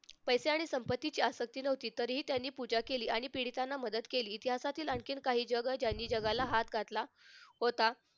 पैसे आणि संपत्ती जास्त नव्हती तरीही त्यांनी पूजा केली आणि पीडितांना मदत केली इतिहासातील काही जग त्यांनी जगाला हात घातला होता.